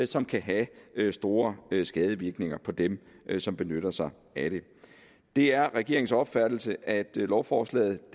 som kan have store skadevirkninger på dem som benytter sig af det det er regeringens opfattelse at lovforslaget